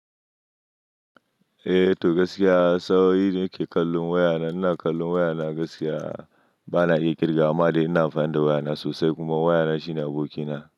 Eh to gaskiya sa'o in da nike kallon wayana, ina kallon wayana gaskiya bana iya kirga amma dai ina amfani da wayana sosai kuma wayana shine abokina.